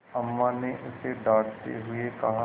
अम्मा ने उसे डाँटते हुए कहा